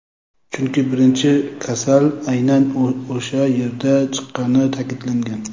chunki birinchi kasal aynan o‘sha yerdan chiqqanini ta’kidlagan.